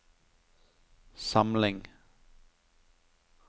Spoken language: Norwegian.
samling